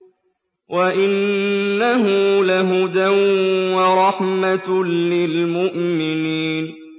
وَإِنَّهُ لَهُدًى وَرَحْمَةٌ لِّلْمُؤْمِنِينَ